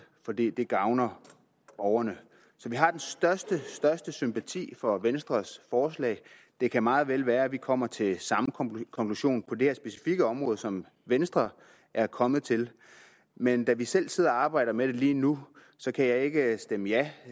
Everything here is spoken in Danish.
for det gavner borgerne så vi har den største største sympati for venstres forslag det kan meget vel være at vi kommer til samme konklusion på det her specifikke område som venstre er kommet til men da vi selv sidder og arbejder med det lige nu kan jeg ikke stemme ja